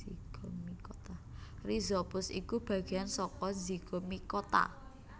Rhizopus iku bagéyan saka Zygomicota